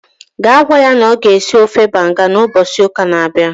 gaa gwa ya na ọ ga-esi ofe banga ụbọchị ụka na-abịa